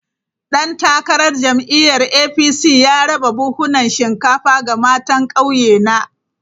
Dan takarar jam’iyyar APC ya raba buhunan shinkafa ga matan kauyena.